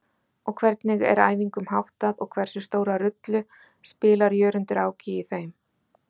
Hvernig er æfingum háttað og hversu stóra rullu spilar Jörundur Áki í þeim?